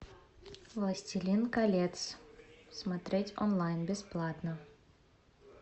властелин колец смотреть онлайн бесплатно